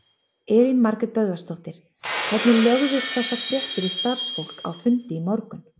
Elín Margrét Böðvarsdóttir: Hvernig lögðust þessar fréttir í starfsfólk á fundi í morgun?